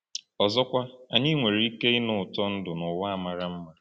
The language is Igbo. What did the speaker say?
Ọzọkwa, anyị nwere ike ịnụ ụtọ ndụ n’ụwa a mara mma.